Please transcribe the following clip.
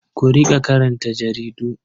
Ku riƙa karanta jaridu.